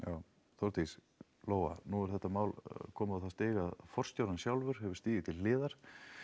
Þórdís Lóa nú er þetta mál komið á það stig að forstjórinn sjálfur hefur stigið til hliðar